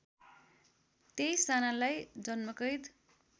२३ जनालाई जन्मकैद